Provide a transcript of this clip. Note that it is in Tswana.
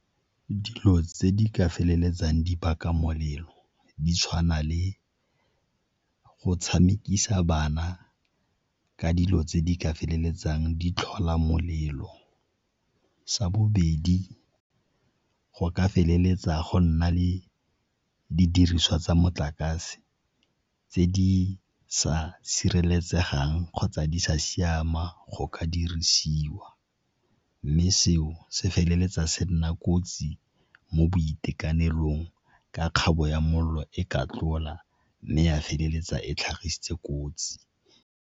Dilo tse di ka feleletsang di baka molelo di tshwana le go tshamekisa bana ka dilo tse di ka feleletsang di tlhola molelo. Sa bobedi, go ka feleletsa go nna le didiriswa tsa motlakase tse di sa sireletsegang kgotsa di sa siama go ka dirisiwa ka mme seo se feleletsa se nna kotsi mo boitekanelong ka kgabo ya mollo e ka tlola mme ya feleletsa e tlhagisitse kotsi.